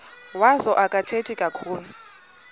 wazo akathethi kakhulu